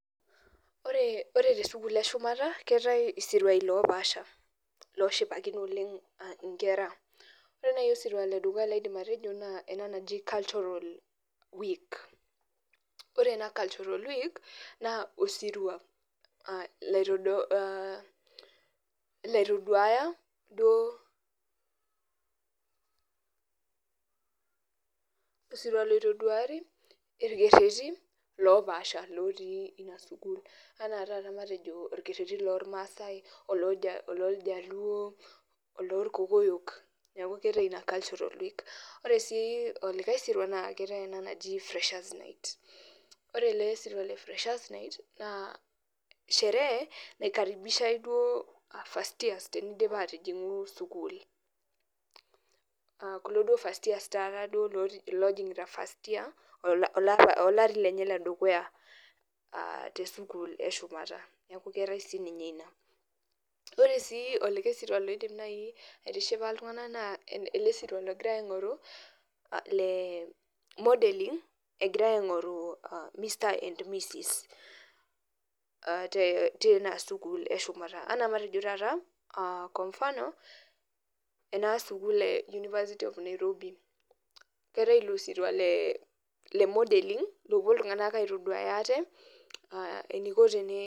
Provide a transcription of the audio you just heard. Ore tesukul eshumata keetae isiruai lopaasha loshipakino nkera ore nai osirua ledukuya laidim atejo na ele oji culturalweek ore ina cultural week na osirua la laitoduaya duo osirua loitaduati rkererin lopaasha ana taata matejo orkereri lorpaek ololjaluo, olorkokoyo ore si olika siria na keetae ele oji freshers night ore elesirua na sherehe oikaribishai duo first years olari lenyebledukuya tesukul eshumata ore si ltunganak na elesiriwa egirai aingoru tinasukul eshumata matejo nai ana keetai ilobsirwa le modelling nepuo aitaduaya ate eniko